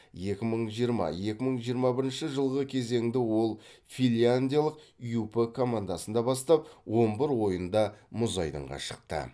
екі мың жиырма екі мың жиырма бірінші жылғы кезеңді ол финляндиялық юп командасында бастап он бір ойында мұз айдынға шықты